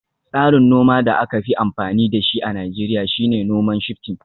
Tsarin noma da aka fi amfani da shi a Najeriya shine noman Shifting